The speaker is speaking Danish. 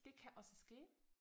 Det kan også ske